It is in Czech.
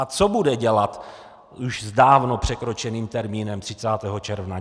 A co bude dělat s už dávno překročeným termínem 30. června?